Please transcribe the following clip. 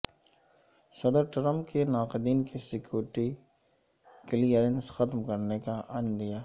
صدر ٹرمپ کے ناقدین کی سکیورٹی کلیئرنس ختم کرنے کا عندیہ